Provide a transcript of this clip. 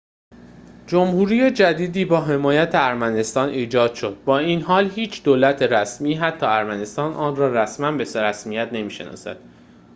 جمهوری جدیدی با حمایت ارمنستان ایجاد شد با این حال هیچ دولت رسمی حتی ارمنستان آن را رسماً به رسمیت نمی‌شناسد